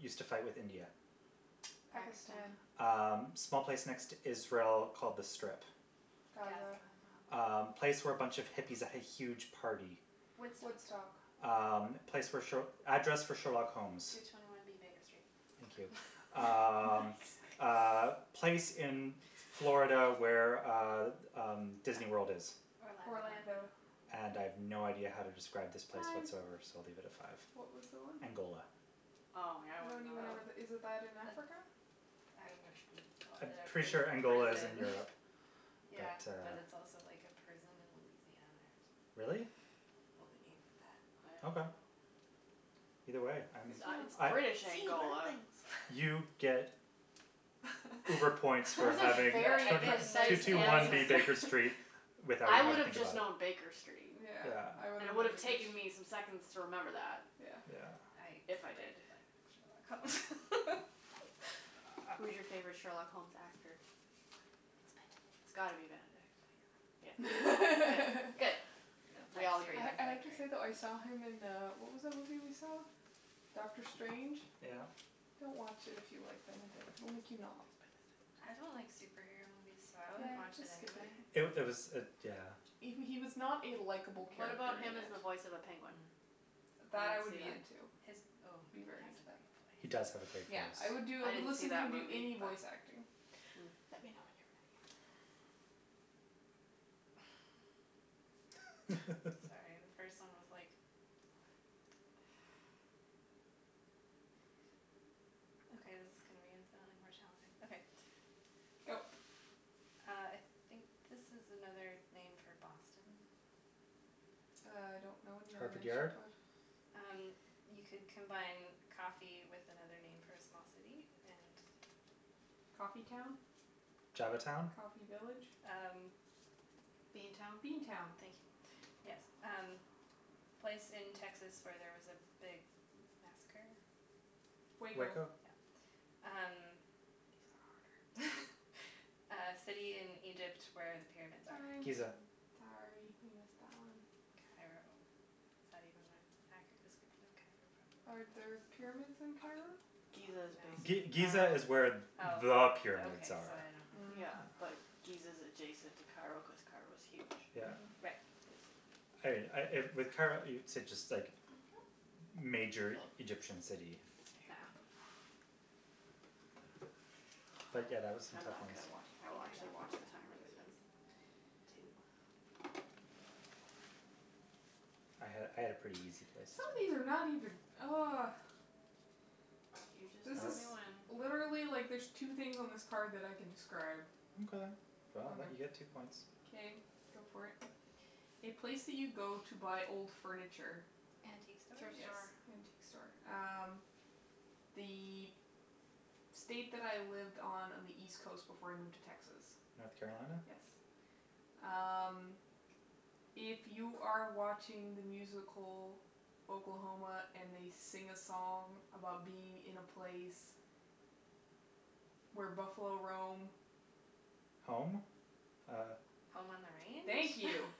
used to fight with India. Pakistan. Pakistan. Um, small place next to Israel called The Strip. Gaza. Gaza. Um, Gaza. place where a bunch of hippies had a huge party. Woodstock. Woodstock. Um, place where sh- address for Sherlock Holmes. Two twenty one B Baker Street. Thank you. Nice. Um, uh, place in Florida where uh, um, Disneyworld is. Orlando. Orlando. - ando And I have no idea how to describe this place Time. whatsoever, so I'll leave it at five. What was the one? Angola. Oh, yeah, I I don't wouldn't know even know that. where that, is that in Oh, Africa? that's. I would have called I'm it a pretty sure pri- Angola is in prison Europe, but Yeah, but uh. it's also like a prison in Louisiana or something. Really? Well, they named it I don't Okay. know. that. Either way, I'm, Good It to it's I know. British See, you learn Angola. things. You get uber points for That's a having Yeah, I very the get two precise nerd two one answer. points B Baker for. Street without I even having would to have think just about it. known Baker Street, Yeah. Yeah. and it would have taken me some seconds to remember that. Yeah. Yeah. I If I did. really like Sherlock Holmes. Who's your favorite Sherlock Holmes actor? It's It's Benedict. gotta be Benedict, yeah. Good, good, Yeah, good, no, we that's all agree series I then. is I have like to great. say, though, I saw him in, uh, what was that movie we saw? Doctor Strange? Yeah. Don't watch it if you like Benedict. It will make you not like I Benedict. don't like superhero movies, so I wouldn't Yeah, watch just it skip it. anyway. It it was it, yeah. He w- he was not a likeable What about character in him as it. the voice of a penguin? Mm. Would That, I anyone would see be that? into. His, oh, Be he very has a into that. great He does have a voice. great voice. Yeah, I would do, I I I would didn't see listen to him that do movie, any but voice acting. Hmm. Let me know when you're ready. Sorry, the first one was like, what? Okay, this is gonna be infinitely more challenging. Okay. Go. Uh, I think this is another name for Boston. I don't know any other Harvard names for Yard. Bo- Um, you could combine coffee with another name for a small city and. Coffee town? Java town? Coffee village? Um. Bean town? Bean town. Thank you, yes. Um, place in Texas where there was a big massacre. Waco. Waco? Yep. These These are are harder. harder. Uh city in Egypt where the pyramids Time. are. Giza. Time. Sorry, you missed that one. Cairo. Is that even an accurate description of Cairo, probably Are there not. pyramids in Cairo? Giza is No. G- basically Giza Cairo. is where there Oh, are okay, pyramids so are. I don't Mm. Yeah, know. like, Giza is adjacent to Cairo cuz Cairo's huge, Yeah. Mhm. Right. basically. I I with Cairo, it's just like Thank you. major Egyptian city. Yeah. But, yeah, that was some I'm tough not ones. good at watch, I I will think I got actually watch what the how timer many this were time. those Two. I had I had a pretty easy places. Some of these are not even oh. You just This tell is me when. Literally, like, there's two things on this card that I can describe. Okay, well, I'll let you get two Okay. points. Okay, go for it. A place that you go to buy old furniture. Antique store? Thrift Yes, store. antique store. Um, the state that I lived on on the East coast before I moved to Texas. North Carolina. Yes. Um, if you are watching the musical Oklahoma and they sing a song about being in a place where buffalo roam. Home? Uh. Home on the Thank range? you.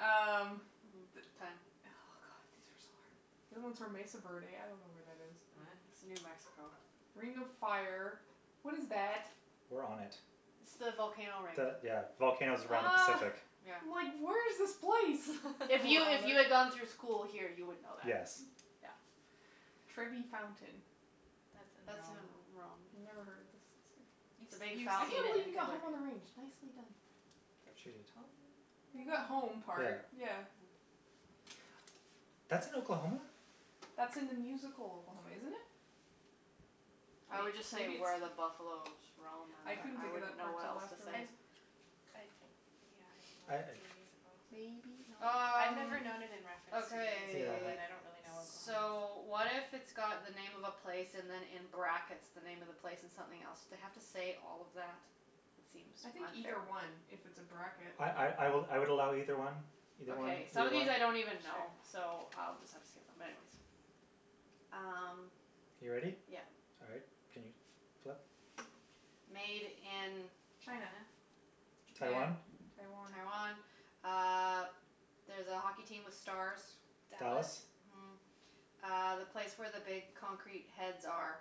Um. Mm time. Oh, god, these are so hard. The other ones were Mesa Verde. I don't know where that is. Oh. Mhm. It's New Mexico. Ring of Fire. What is that? We're on it. It's the volcano ring. The, yeah, volcanoes around the Oh. Pacific. Yeah. I'm like where's this place? If You you are on if it. you had gone through school here, you would know that. Yes. Yeah. Trevi Fountain. That's in That's in Rome. Rome, Never yeah. heard of this. See. You've, It's a big you've I can't seen fountain it with believe you in got Home on pictures. the Range. Nicely done. She did. You got home Yeah. part, yeah. Hmm. That's in Oklahoma? That's in the musical Oklahoma, isn't it? I would just say Maybe it's where the buffalos roam and I couldn't then I think of wouldn't that know part what till else to I afterwards. say. I, yeah, I don't I know if it's uh in the musical. Maybe I've not. Um, never known it in reference to the musical, Yeah. okay. but I don't really know Oklahoma. So, what if it's got the name of a place and then in brackets, the name of the place and something else. have to say all of that? It seems I think unfair. either one if it's a bracket. I I I I would I would allow either one, either one, Okay. Some either of one. these I don't even know, Sure. so I'll just have to skip them, but anyways. Um. You ready? Yeah. All right, can you flip? Made in. China. China? Japan, Taiwan? Taiwan. Taiwan. Uh there's a hockey team with stars. Dallas. Dallas. Mhm. Uh, the place where the big concrete heads are.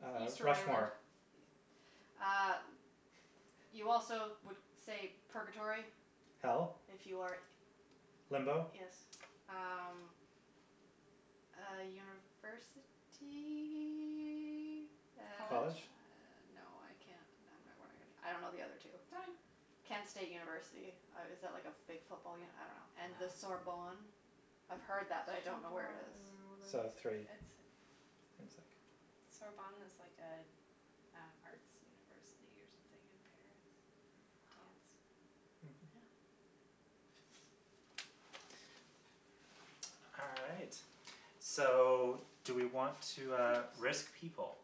Uh, Easter Island. Rushmore. E- uh, you also would say purgatory Hell? if you are Limbo Yes. Um, uh university. And uh College? College? no, I can't I don't know the other two. Time. Kent State University. Uh is that like a big football uni- I don't know. And the Ah. Sorbonne. I've heard that, Sorbonne. I but I don't don't know where it is. even know where So, that is. three. It's. It's like Sorbonne is like a an arts university or something in Paris. Wow. Dance. Mhm. Yeah. All right, so do we want to, uh, risk people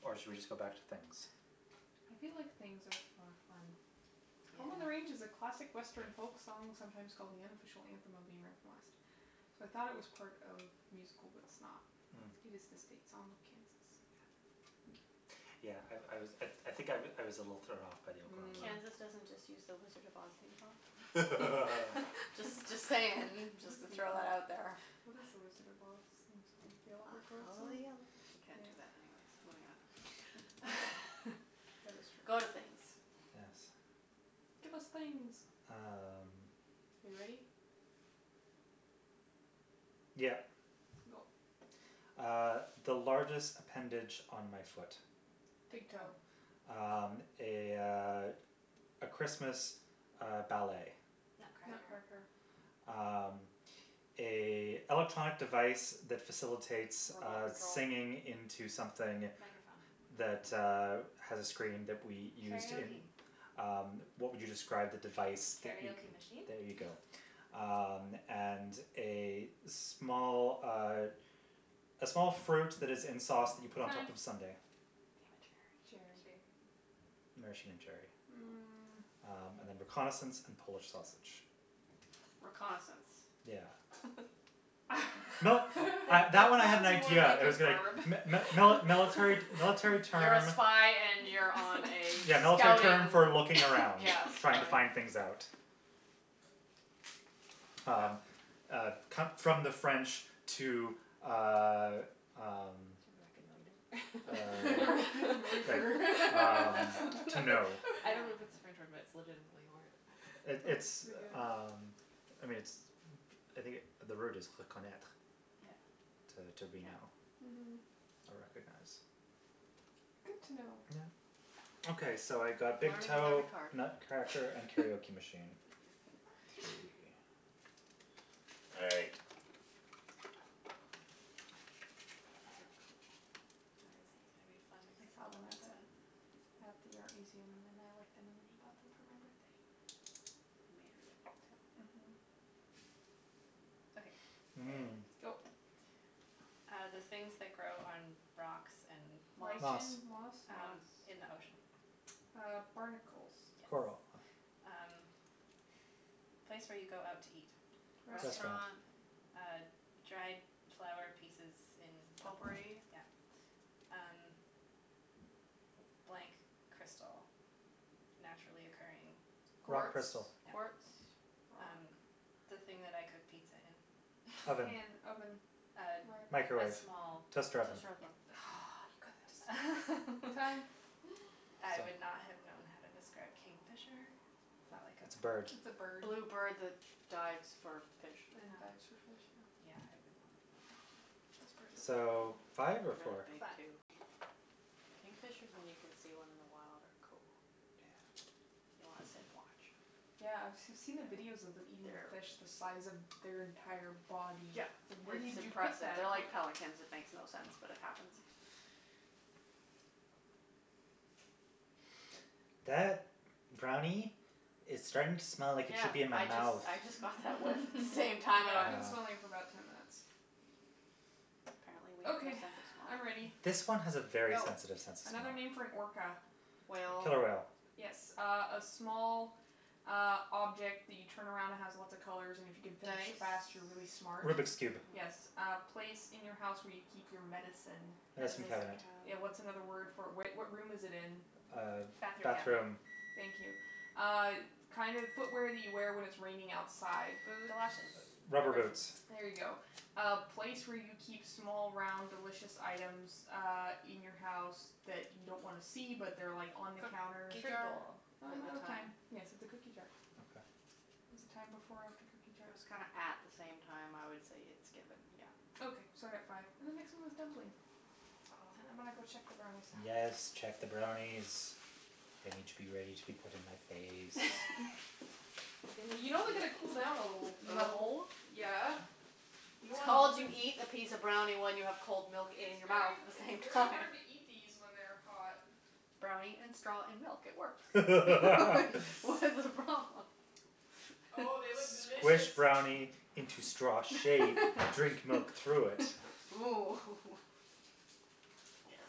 or should we just go back to things? I feel like things are for fun. Home on the Range is a Yeah. classic Western folk song sometimes called the unofficial anthem of the American West. So, I thought it was part of musical, but it's not. Mm. It is the state song of Kansas. Yeah. Yeah, I I was, I I think I I was a little thrown off by the Mm. Oklahoma. Kansas doesn't just use the Wizard of Oz theme song? Just just saying, just to throw that out there. theme? What is the Wizard of Oz theme song? The I Yellow Brick Road follow song? the yellow brick- we can't do that anyways, moving on. That is true. Go to things. Yes. Give us things. Um. Are you ready? Yep. Go. Uh, the largest appendage on my foot. Big Big toe. toe. Um, a, uh, a Christmas, uh, ballet. Nutcracker. Nutcracker. Nutcracker. Um, a electronic device that facilitates Remote uh control. singing into something Microphone. that, uh, Hmm. has a screen that we used in. Karaoke. Um, what would you describe the device that you. Karaoke machine? There you go. Um, and a small, uh, a small fruit that is in sauce that you put on top Time. of a sundae. Damn it. Cherry. Cherry. Maraschino cherry. Hmm. Mm. Um and then reconnaissance and Polish sausage. Reconnaissance? Yeah. No, I That that that one I had an sounds more idea. like I a was going verb. mi- mi- mili- military military You're a term. spy and you're on a Yeah, military term scouting, for looking around, yeah, trying to scouting. find things out. Well. Um, uh, come from the French to, uh, um, To uh, reconnoiter. like, um, Reconnaitre. to know. I Yeah. don't know if it's a French word, but it's legitimately a word. It That's pretty it's, good. um, I mean, it's, I think the word is reconnaitre Yeah. Mhm. to to Yeah. reknow Mhm. or recognize. Good to know. Yeah. Okay, so I got big Learning with toe, every card. Nutcracker and karaoke machine. Three. All right. These are cool. This Aren't one's gonna be they? fun I except for saw the them at last one. the, at the art museum and then I liked them and then he bought them for my birthday. They're made really well, too. Mhm. Okay, ready. Mm. Go. Uh, the things that grow on rocks and. Moss. Moss. Lichen, moss? Moss. Um, in the ocean. Uh, barnacles. Yes. Coral. Um, place where you go out to eat. Restaurant. Restaurant. Restaurant. Uh, dried flower pieces in a bowl. Potpourri. Yeah. Um, blank crystal. Naturally occurring. Rock Quartz? Quartz, crystal. quartz, Yeah. rock? Um, the thing that I cook pizza in. A Oven. pan, oven, Um, rack. a Microwave, small. toaster oven. Toaster Yeah. oven. Hmm Oh, you got that just in time. Time. I So. would not have known how to describe kingfisher. Is that like It's a bird. It's a a? bird. Blue bird that dives for fish. And Ah. dives for fish, yeah. Yeah, I would not have known how to. Those birds are So, really cool. five or Really four? big, Five. too. Kingfishers, when you can see one in the wild, are cool. Yeah. You wanna sit and watch. Yeah, I've I've seen the videos of them eating fish the size of their entire body. Yeah, It's like where it's did you put impressive. that? They're like pelicans; it makes no sense, but it happens. That brownie is starting to smell like it Yeah, should be in my I just mouth. I just got that whiff at the same Mm. time, I I've went. been Ah. smelling it for about ten minutes. Apparently, we have no Okay, sense of smell. I'm ready. This one has a very Go. sensitive sense of smell. Another name for an orca. Whale. Killer whale. Yes. Uh a small, uh, object that you turn around and has lots of colors and if you can finish it Dice? fast, you're really smart. Rubik's Cube. Yes. Hmm. A place in your house where you keep your medicine. Medicine Medicine Medicine cabinet. cabinet. Yeah, what's another word cabinet. for it? Where what room is it in? Uh, Bathroom cabinet. bathroom. Thank you. Uh kind of footwear that you wear when it's raining outside. Galoshes, Boots. Rubber rubber boots. boots. There you go. Uh place where you keep small, round, delicious items uh in your house that you don't wanna see, but they're like on the counter. Cookie Fruit jar? bowl. Oh, I'm The out the of time. time. Yes, it's a cookie jar. Oh. Okay. Was the time before or after cookie jar? It was kinda at the same time. I would say it's given, yeah. Okay, so I got five. And the next one was dumpling. And Oh. I'm gonna go check the brownies now. Yes, check the brownies. They need to be ready to be put in my face. I'm gonna You know they see gotta what these cool down a people little, look The like. though. hole? Yeah. You don't It's want called you molten eat a piece of brownie when you have cold milk It's in your mouth very at h- the it's same very time. hard to eat these when they're hot. Brownie and straw and milk, it works Like, what's the problem? Oh, they look delicious. Squish brownie into straw shape, drink milk through it. Ooh hoo hoo Yes.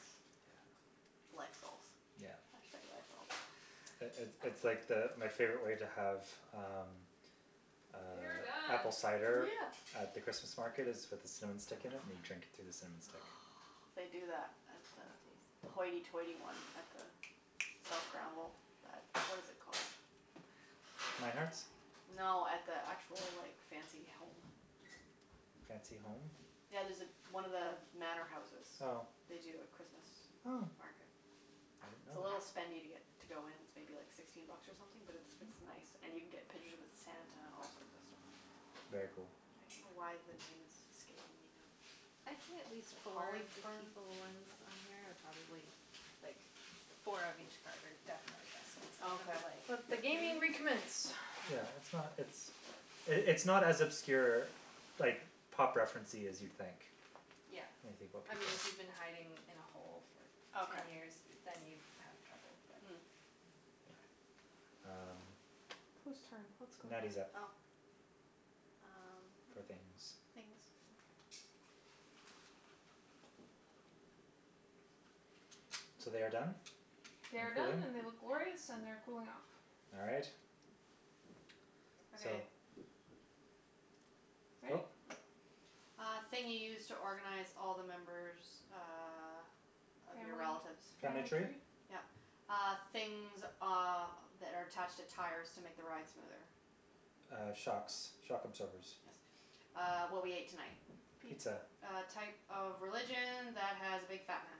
Yeah. Life goals. Yeah. Hashtag life goal. It it it's like the, my favorite way to have um, They are uh, done. apple cider Yeah. at the Christmas market is with a cinnamon stick in it and you drink it through the cinnamon stick. Oh, they do that at the Sounds the tasty. hoity-toity one at the South Granville, that what is it called? Mynard's? No, at the actual, like, fancy home. Fancy home? Yeah, there's one of the manor houses, Oh. they do a Christmas Oh. market. I didn't know It's a that. little spendy to get to go in. It's maybe like sixteen bucks or something, but it's it's nice and Okay. you can get pictures with Santa and all sorts of stuff. Very cool. I don't know why the name is escaping me now. I'd say at Is least it four of the Hollyburn? people ones on here are probably like four of each card are definitely guessable, some of them are Okay. like, Let the hmm? gaming recommence. Yeah, it's not, it's, it's not as obscure, like, pop referencey as you'd think Yeah. when you think about I mean, people. if you've been hiding in a hole for ten Okay. years, then you'd have trouble, but. Mm. Yeah. Kay. Um, Who's turn? What's going Natty's up Oh. Um, for things, things. okay. So they are done They and are done cooling? and they look glorious and they're cooling off. All right. So. Okay. Ready? Go. Uh thing you use to organize all the members uh of your Family relatives. Family family tree? tree? Yeah. Uh, things, uh, that are attached to tires to make the ride smoother. Uh, shocks, shock absorbers. Yes. Uh, what we ate tonight. Pizza. Pizza. A type of religion that has a big fat man.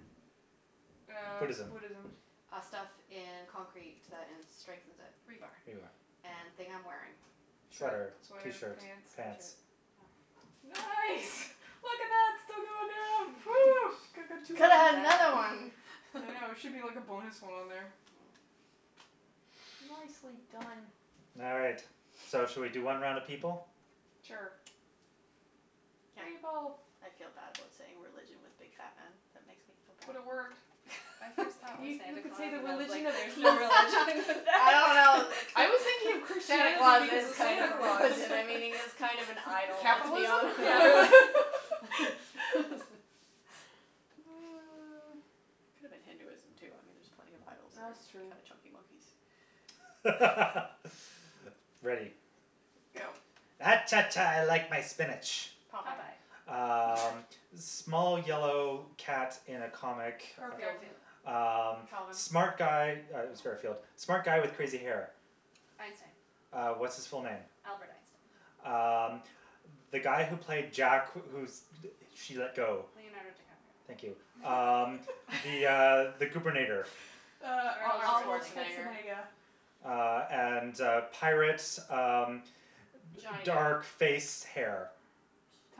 Uh, Buddhism. Buddhism. Uh, stuff in concrete that in strengthens it. Rebar. Rebar, yeah. And thing I'm wearing. Shirt, Sweater, sweater, t-shirt, pants. pants. t-shirt, yeah. Nice! Look at that, still going down. Phew. Could've Well had another done. one. I know, there should be like a bonus one on there. Mm. Nicely done. All right, so should we do one round of people? Sure. Yeah. People. I feel bad about saying religion with big fat man. That makes me feel bad. But it worked. My first thought was You you Santa could say Claus the and I was like religion of there's no peace. religion for I that. don't know, it I was thinking of Santa Christianity Claus because is of kind Santa of a Claus. religion, I mean, he is kind of an idol, let's be honest. Capitalism? Yeah, really Could've been Hinduism, too, I mean, there are plenty of idols that That's are true. kind of chunky monkeys. Ready. Go. Ah cha, cha, I like my spinach. Popeye. Popeye. Um, small yellow cat in a comic. Garfield. Mm. Garfield. Um, Calvin. smart guy- yeah it was Garfield- No. smart guy with crazy hair. Einstein. Uh, what's his full name? Albert Einstein. Um, the guy who placed Jack who she let go. Leonardo DiCaprio. Thank you. Um the, uh, the goobernator. Uh, Arnold Arnold Arnold Schwarzenegger. Schwarzenegger. Schwarzenegger. Uh, and, uh, pirates, um, d- Johnny dark Depp. face, hair.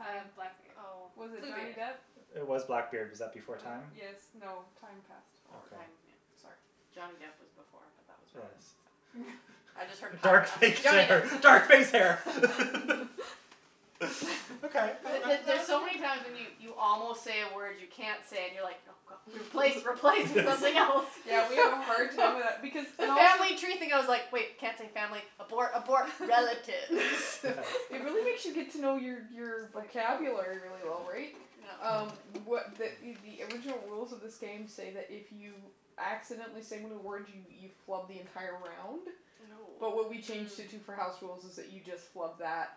Uh, blackbeard. Oh. Was it Johnny Bluebeard. Depp? It was Blackbeard. Was that before time? Yes, Ah. no, time past already. Okay. Time, yeah. Sorry. Johnny Depp was before, but that was wrong, Yes. so. I just heard Dark pirate, I'm like, face Johnny Depp. hair, dark face hair The K, the there's so many that's times when you five. you almost say a word you can't say and you're like, no, god, replace, replace with something else. Yeah, we all have a hard time with that because The and also family tree thing, I was like, wait, can't say family, abort, abort. Relatives It really makes you get to know your your Like vocabulary really well, right? Um, what the the original rules of this game say that if you accidentally say one of the words, you you flub the entire round, but what Oh. we changed it to for Mm. house rules is that you just flub that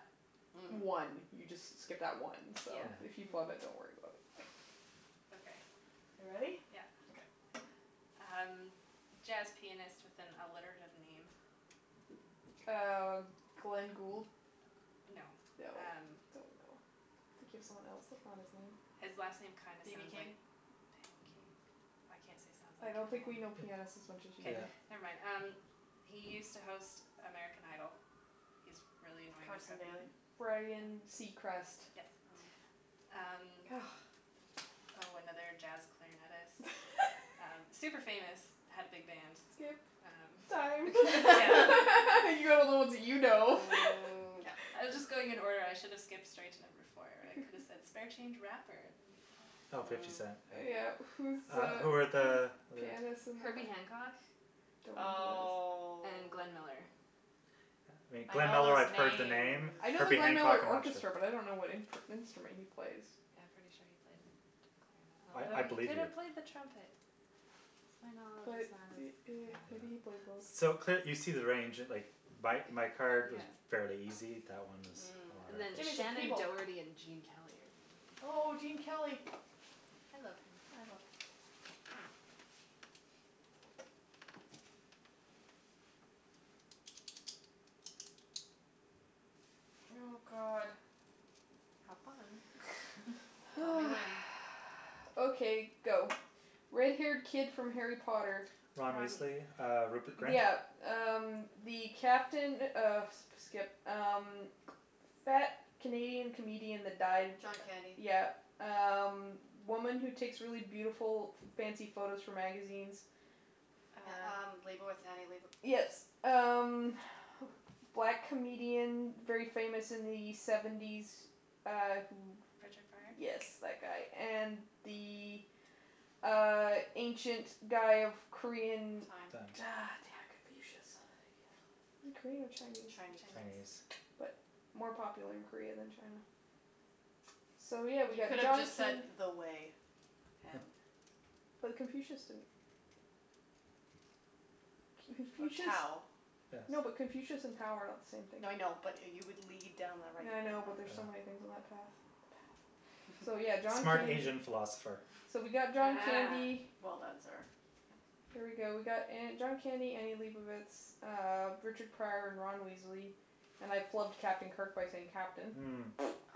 one. Mm. You just s- skip that one, so if you Mm. Yeah. flub it, don't worry about it. Okay. You ready? Yeah. Okay. Um, jazz pianist with an alliterative name. Uh, Glenn Gould? No, No, um. don't know. I'm thinking of someone else. That's not his name. His last name kind of BB sounds like King? pancake. I can't say sounds I like, don't think we know can I? pianists as much as you K. Yeah. do. Never mind. Um, he used to host American Idol. He's really annoying and Carson preppy. Daly. Ryan Seacrest. Yes. Oh. Um. Oh, another jazz clarinetist. Super famous, had a big band. Skip. Time. Um, yeah. You got all the ones that you know. Mm, yep. I was just going in order. I should have skipped straight to number four where I could have said spare change rapper and then you'd get it. Oh, Fifty Cent. Mm. Yeah. Who's Uh, who were the the other? pianist and the cla- Herbie Hancock Don't know who that is. Oh. and Glenn Miller. I Glenn know Miller, those I've heard the names. name. I know the Herbie Glenn Hancock, Miller I'm not sure. Orchestra, but I don't know what imp- instrument he plays. Yeah, I'm pretty sure he played clarinet, I I although he believe could you. have played the trumpet. My knowledge But is not as, yeah. maybe he Yeah. played both. So, cl- you see the range. Like, my my card was fairly Yeah. easy; that one was a Mm. lot And then Give me some Shannon harder. people. Doherty and Gene Kelly are the other Oh, ones. Gene Kelly. I love him. I love him, too. Oh, god. Have fun. Tell me Oh. when. Okay, go. Red haired kid from Harry Potter. Ron Ron Weasley, Weasley. uh, Rupert Grint? Yeah. Um, the captain of skip. Um, fat Canadian comedian that died. John Candy. Yeah. Um, woman who takes really beautiful, f- fancy photos for magazines. Yeah Uh. um, Leibovitz, Annie Leibo- Yes. Um, black comedian, very famous in the seventies, uh, who. Richard Pryor? Yes, that guy. And the, uh, ancient guy of Korean. Time. Time. damn. Confucius. Is he Korean or Chinese? Chinese. Chinese. But Chinese. more popular in Korea than China. So, yeah, we You got could've John just said Can- the way. But Confucius didn't. Or Confucius. Tao. No, but Yes. Confucius and Tao are not the same thing. No, I know, but you would lead down the right Yeah, I know, but there's Yeah. so many things on that path. The path. So, yeah, John Smart Candy. Asian philosopher. So we got John Ah, Candy. well done, sir. There we go. We got uh John Candy, Annie Leibovitz, uh, Richard Pryor and Ron Weasley. And I flubbed Captain Kirk by saying captain. Mm.